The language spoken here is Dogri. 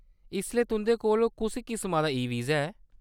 इसलै तुंʼदे कोल कुस किसमा दा ई-वीज़ा ऐ ?